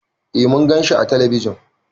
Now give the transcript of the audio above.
Eh Mun gan shi ã telebijin.